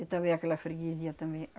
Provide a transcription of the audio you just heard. E também aquela freguesia também,